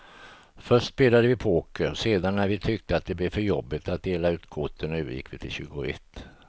Först spelade vi poker, sedan när vi tyckte att det blev för jobbigt att dela ut korten övergick vi till tjugoett.